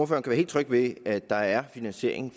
være helt tryg ved at der er finansiering